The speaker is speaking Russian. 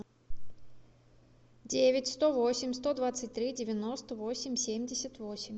девять сто восемь сто двадцать три девяносто восемь семьдесят восемь